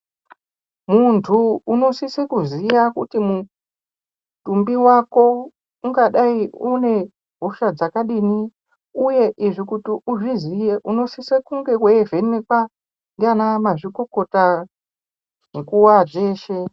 Muntu unosise kuziya kuti mutumbi wako ungadai une hosha dzakadini, uye izvi kuti uzviziye unosise kunge weivhenekwa ndiana mazvikokota nguwa dzeshe.